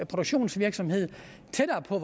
produktionsvirksomhed tættere på